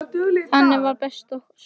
Þannig var bara Soffía okkar.